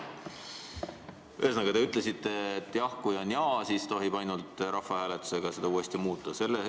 Ühesõnaga, te ütlesite, et kui vastus on jah, siis tohib ainult rahvahääletusega seda uuesti muuta.